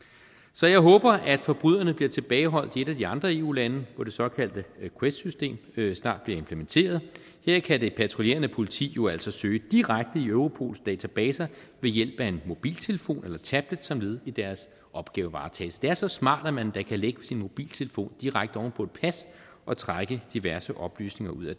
så jeg håber at forbryderne bliver tilbageholdt i et af de andre eu lande hvor det såkaldte quest system snart bliver implementeret her kan det patruljerende politi jo altså søge direkte i europols databaser ved hjælp af en mobiltelefon eller tablet som led i deres opgavevaretagelse det er så smart at man endda kan lægge sin mobiltelefon direkte oven på et pas og trække diverse oplysninger ud af